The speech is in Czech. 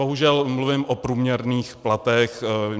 Bohužel mluvím o průměrných platech.